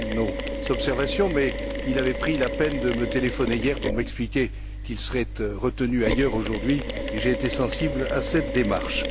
Rehn nos observations, mais il avait pris la peine de me téléphoner hier pour m'expliquer qu'il serait retenu ailleurs, aujourd'hui, et j'ai été sensible à cette démarche.